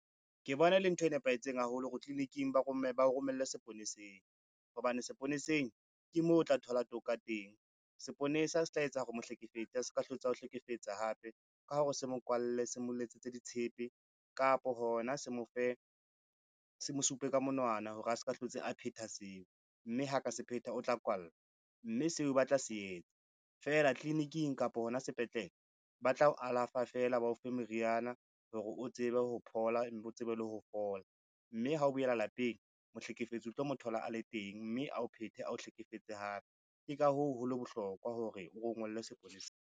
Ke bona e le ntho e nepahetseng haholo hore tliliniking ba o romelle seponeseng hobane seponeseng, ke moo o tla thola toka teng. Seponesa se tla etsa hore mohlekefetsi a ska hlotse ao hlekefetsa hape ka hore se mo kwalle, se mo letsetse ditshepe kapo hona se mosupe ka monwana hore a ska hlotse a phetha seo, mme ha ka se phetha o tla kwalla, mme seo ba tla se etsa. Feela tliliniking kapa hona sepetlele, ba tla o alafa fela ba o fe meriana hore o tsebe ho phola, o bo tsebe le ho fola, mme ha o boela lapeng mohlekefetsi, o tlo mo thola a le teng, mme a o phethe ao hlekefetse hape. Ke ka hoo holeng bohlokwa hore o rongwelle sepoleseng.